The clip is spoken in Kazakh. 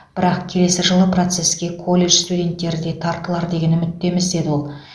бірақ келесі жылы процесске колледж студенттері де тартылар деген үміттеміз деді ол